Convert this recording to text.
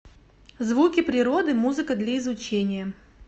звуки природы музыка для изучения